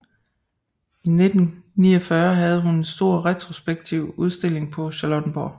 I 1949 havde hun en stor retrospektiv udstilling på Charlottenborg